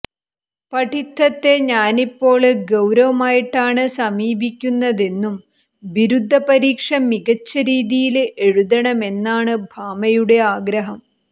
പഠിത്തത്തെ താനിപ്പോള് ഗൌരവമായിട്ടാണ് സമീപിയ്ക്കുന്നതെന്നും ബിരുദ പരീക്ഷ മികച്ച രീതിയില് എഴുതണമെന്നുമാണ് ഭാമയുടെ ആഗ്രഹം